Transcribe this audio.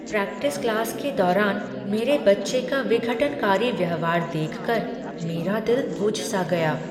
Practice class के दौरान मेरे बच्चे का विघटनकारी व्यवहार देख कर मेरा दिल बुझ सा गया।